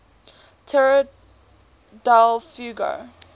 tierra del fuego